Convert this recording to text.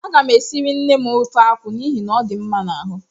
A gam esiri nnem ofe akwụ n'ihi na ọ dị mma n'ahụ